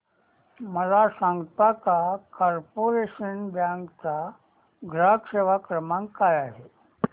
मला सांगता का कॉर्पोरेशन बँक चा ग्राहक सेवा क्रमांक काय आहे